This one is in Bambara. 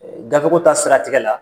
Gafe ko ta siratigɛ la